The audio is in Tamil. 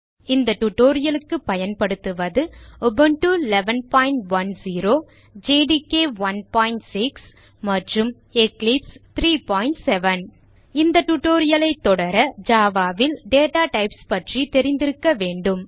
இந்த tutorial க்கு பயன்படுத்துவது உபுண்டு 1110 ஜேடிகே 16 மற்றும் எக்லிப்ஸ் 37 இந்த tutorial ஐ தொடர java ல் டேட்டா டைப்ஸ் பற்றி தெரிந்திருக்க வேண்டும்